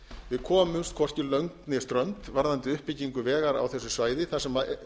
við komumst hvorki lönd né strönd varðandi uppbyggingu vegar á þessu svæði þar sem